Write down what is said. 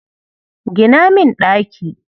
Gina min ɗaki.